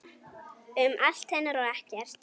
Um allt hennar og ekkert.